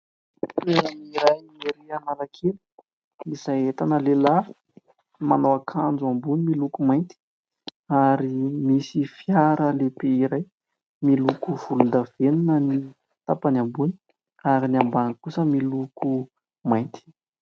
Toerana iray ery Analakely izay ahitana lehilahy manao akanjo ambony miloko mainty, ary misy fiara lehibe iray miloko volondavenona ny tapany ambony ary ny ambany kosa miloko mainty.